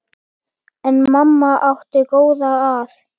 En mamma átti góða að.